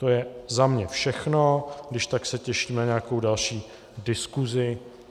To je za mě všechno, když tak se těším na nějakou další diskusi.